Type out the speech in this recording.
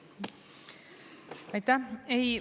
Aitäh!